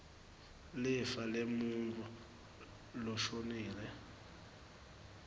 lifa lemuntfu loshonile